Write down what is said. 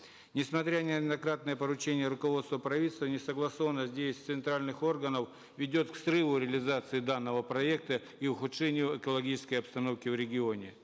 несмотря на неоднократные поручения руководства правительства несогласованность действий центральных органов ведет к срыву реализации данного проекта и ухудшению экологической обстановки в регионе